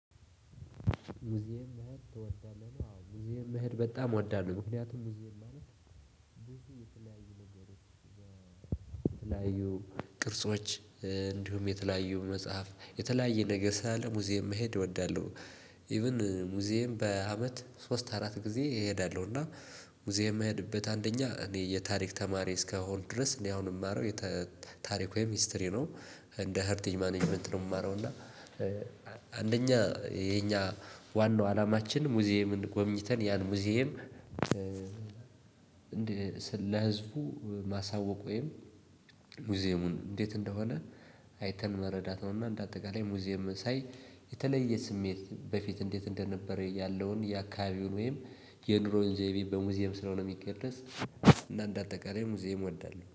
ሙዝየም መሄድ ትወዳለህ? ዋው ሙውየም መሄድ በጣም ወዳለሁ ምክንያቱም ሙዝየም ማለት ብዙ የተለያዩ ነገሮች በተለያዩ ቅርጾች እንዲሁም የተለያዩ መጽሐፍ የተለያየ ነገር ሳለ ሙዚየም መሄድ እወዳለሁ። ኢቭን ሙዝየም በአመት ሶስት አራት ጊዜ እሄዳለሁ። እና ሙዝየም የሚሄድበት አንደኛ እኔ የታሪክ ተማሪ እስከሆን ድረስ እኔ አሁን የማረው ታሪኩ ወይም ሂስትሪ ነው። እንደ ሀርቲንግ ማኔጅመንት ነው የማረው እና። አንደኛ የኛ ዋናው አላማችን ሙዝየምን ጎብኝተን ያን ሙዝየም። ለህዝቡ ማሳወቅ ወይም ሙዝየሙ እንዴት እንደሆነ አይተን መረዳት ነው። እና እንደ አጠቃላይ ሙዝየምን ሳይ የተለየ ስሜት በፊት እንዴት እንደነበረ ያለውይ የአከባቢውን ዜይቤ ስለሆነ የሚገለጽ እና እንደ አጠቃላይ ሙዝየም እወዳለሁ